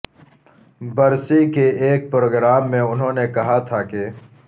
برسی کے ایک پروگرام میں انہوں نے کہا تھا کہ